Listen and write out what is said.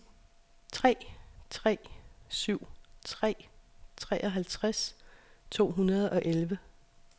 tre tre syv tre treoghalvtreds to hundrede og elleve